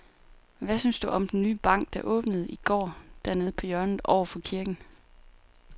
Hvad synes du om den nye bank, der åbnede i går dernede på hjørnet over for kirken?